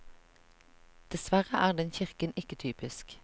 Dessverre er den kirken ikke typisk.